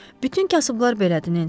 Bütün kasıblar belədir Nensi.